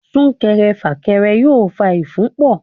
Súnkẹrẹ fàkẹrẹ yóò fa ìfúnpọ̀.